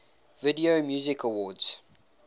video music awards